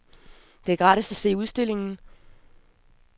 Det er gratis at se udstillingen.